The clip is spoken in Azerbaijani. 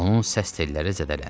Onun səs telləri zədələnib.